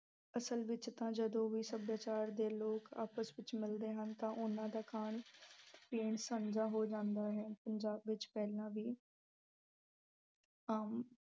ਅਸਲ ਵਿੱਚ ਤਾਂ ਜਦੋਂ ਦੋ ਸੱਭਿਆਚਾਰ ਦੇ ਲੋਕ ਆਪਸ ਵਿੱਚ ਮਿਲਦੇ ਹਨ ਤਾਂ ਉਹਨਾਂ ਦਾ ਖਾਣ-ਪੀਣ ਸਾਂਝਾ ਹੋ ਜਾਂਦਾ ਹੈ। ਪੰਜਾਬ ਵਿੱਚ ਪਹਿਲਾਂ ਵੀ ਆਮ